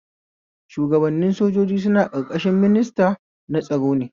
Shuwagabannin sojoji suna ƙarƙashin minista na tsaro ne